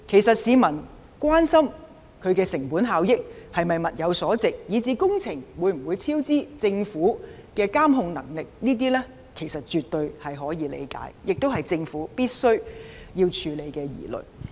市民關心其成本效益、是否物有所值、工程會否超支、政府的監控能力等，其實絕對可以理解，亦是政府必須處理的疑慮。